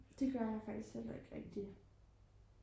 det gør jeg faktisk heller ikke rigtigt